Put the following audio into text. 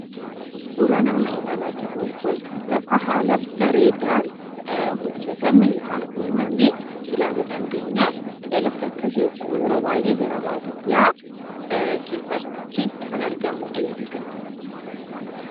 Suuraan amma ilaalaa jirru kun lafa haala bareedaan hojjatame yookaan uumame ilaaluu dandeenya. Lafti akkasiis yeroo baay'ee gara baadiyyaa keessatti kan argamudha jechuudha.